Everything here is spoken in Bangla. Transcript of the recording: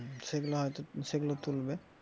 সেগুলো হয়তো সেগুলো তুলবে,